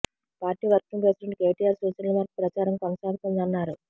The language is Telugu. పార్టీ వర్కింగ్ ప్రెసిడెంట్ కేటీఆర్ సూచనల మేరకు ప్రచారం కొనసాగుతోందన్నారు